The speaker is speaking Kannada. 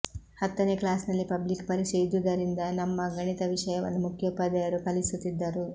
ಹತ್ತನೇ ಕ್ಲಾಸಿನಲ್ಲಿ ಪಬ್ಲಿಕ್ ಪರೀಕ್ಷೆ ಇದ್ದುದರಿಂದ ನಮ್ಮ ಗಣಿತ ವಿಷಯವನ್ನು ಮುಖ್ಯೋಪಾಧ್ಯಾಯರು ಕಲಿಸುತ್ತಿದ್ದರು